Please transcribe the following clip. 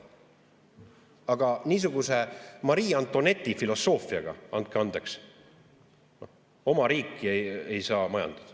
Aga niisuguse Marie Antoinette'i filosoofiaga, andke andeks, oma riiki ei saa majandada.